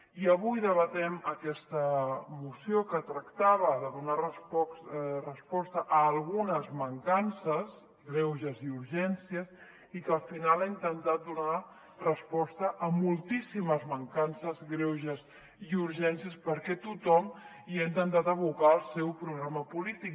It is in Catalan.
i avui debatem aquesta moció que tractava de donar resposta a algunes mancan·ces greuges i urgències i que al final ha intentat donar resposta a moltíssimes man·cances greuges i urgències perquè tothom hi ha intentat abocar el seu programa po·lític